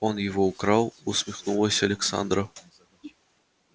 он его украл усмехнулась александра